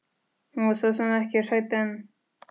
Hún var svo sem ekki hrædd en.